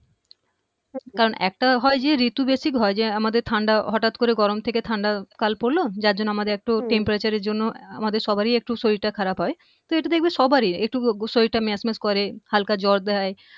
কারণ একটা হয় যে ঋতু basic হয় যে আমাদের ঠান্ডা হঠাৎ করে গরম থেকে ঠান্ডা কাল পড়ল যার জন্য আমাদের একটু উম temperature এর জন্য সবারই একটু শরীরটা খারাপ হয় তো এটা দেখবে সবারই একটু শরীর ম্যাচম্যাচ করে হালকা জ্বর দেয়